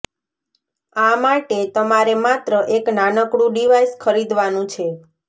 આ માટે તમારે માત્ર એક નાનકડું ડિવાઈસ ખરીદવાનું છે